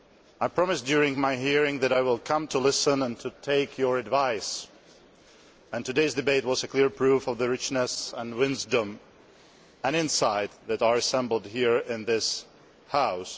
I promised during my hearing that I would come to listen and to take your advice, and today's debate was a clear proof of the richness, wisdom and insight that are assembled here in this House.